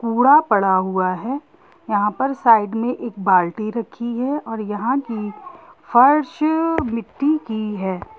कूड़ा पड़ा हुआ है यहां पर साइड में एक बाल्टी रखी है और यहाँ की फर्श मिट्टी की है।